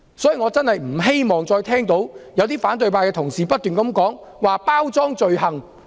所以，我不希望再聽到反對派同事不斷提及包裝罪行。